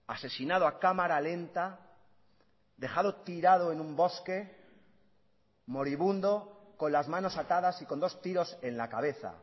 asesinado a cámara lenta dejado tirado en un bosque moribundo con las manos atadas y con dos tiros en la cabeza